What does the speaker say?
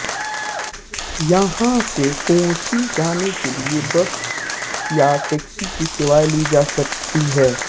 यहां से कोच्चि जाने के लिए बस या टैक्सी की सेवाएं ली जा सकती हैं